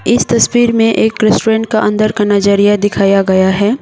इस तस्वीर में एक रेस्टोरेंट का अंदर का नजरिया दिखाया गया है।